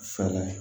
Fɛɛrɛ